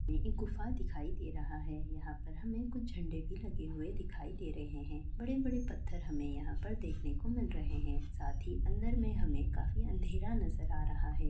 ये एक गुफा दिखाई दे रहा है यहाँ पर हमें कुछ झंडे भी लगे हुए दिखाई दे रहे हैं बड़े-बड़े पत्थर हमें यहाँ पर देखने को मिल रहे हैं साथ ही अंदर में हमें काफी अंधेरा नजर आ रहा है।